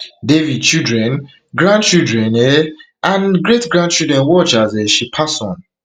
devi children grandchildren um and great grandchildren watch as um she pass on